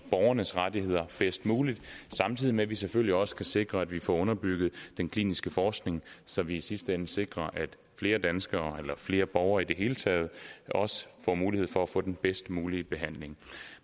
borgernes rettigheder bedst muligt samtidig med at vi selvfølgelig også skal sikre at vi får underbygget den kliniske forskning så vi i sidste ende sikrer at flere danskere flere borgere i det hele taget får mulighed for at få den bedst mulige behandling